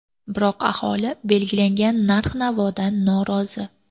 Biroq aholi belgilangan narx-navodan norozi.